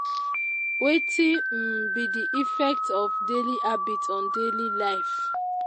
wetin um be di effect of daily habits on daily life?